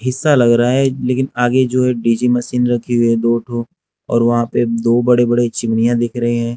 हिस्सा लग रहा है लेकिन आगे जो एक डी जे मशीन रखी है दो ठो और वहां पे दो बड़े बड़े चिमनियाँ दिख रहे हैं।